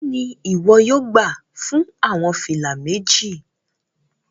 Elo ni iwọ yóò gba fun awọn fila meji?